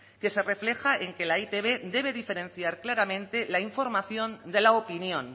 que se refleja en que la e i te be debe diferenciar claramente la información de la opinión